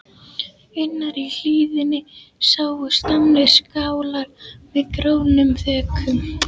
Innar í hlíðinni sáust gamlir skálar með grónum þökum.